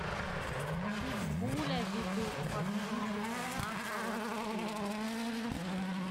питбуля ведут под музыку на поводке